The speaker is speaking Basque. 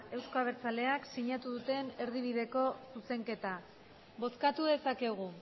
euzko abertzaleak sinatu duten erdibideko zuzenketa bozkatu dezakegu